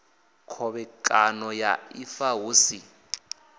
khovhekano ya ifa hu si